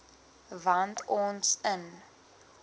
wat ons in